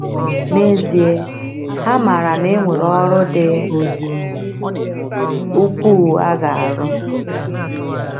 N’ezie, ha maara na e nwere ọrụ dị ukwuu a ga - arụ.